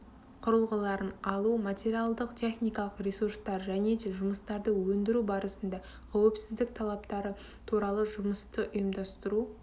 құрылғыларын алу материалдық техникалық ресурстар және де жұмыстарды өндіру барысында қауіпсіздік талаптары туралы жұмысты ұйымдастыру